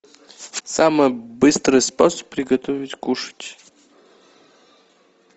самый быстрый способ приготовить кушать